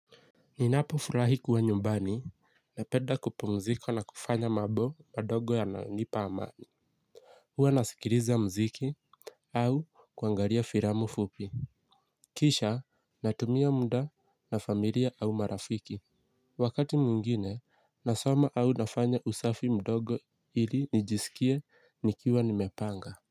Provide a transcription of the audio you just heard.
Ninapo furahi kuwa nyumbani napenda kupumzika na kufanya mambo madogo yanayonipa amani. Hua nasikiliza mziki au kuangalia filamu fupi. Kisha natumia mda na familia au marafiki. Wakati mwingine nasoma au nafanya usafi mdogo ili nijisikia nikiwa nimepanga.